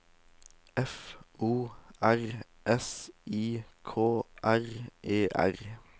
F O R S I K R E R